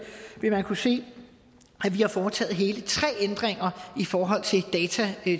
vil man kunne se at vi har foretaget hele tre ændringer i forhold